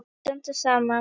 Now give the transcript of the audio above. Við stöndum saman!